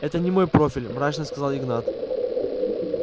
это не мой профиль мрачно сказал игнат